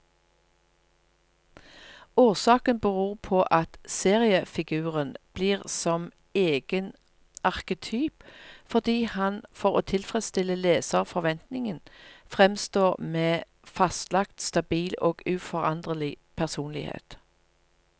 Årsaken beror på at seriefiguren blir som egen arketyp, fordi han for å tilfredstille leserforventningen framstår med fastlagt, stabil og uforanderlig personlighet.